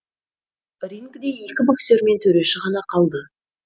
рингіде екі боксер мен төреші ғана қалды